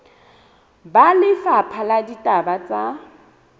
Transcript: ba lefapha la ditaba tsa